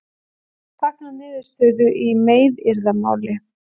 Fagna niðurstöðu í meiðyrðamáli